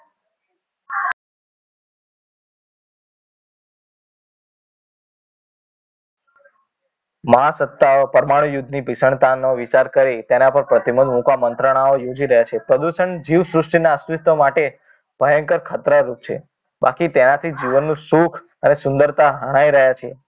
મહાસત્તાઓ પરમાણુ યુદ્ધની ભિસણતા નો વિચાર કરી તેના પર પ્રતિબંધ મુકવા મંત્રણાઓ યોજી રહ્યા છે પ્રદૂષણ જીવ સૃષ્ટિ ના અસ્તિત્વ માટે ભયંકર ખતરા રૂપ છે બાકી તેનાથી જીવનનું સુખ અને સુંદરતા હણાઇ રહ્યા છે